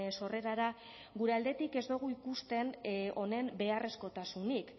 sorrerara gure aldetik ez dugu ikusten honen beharrezkotasun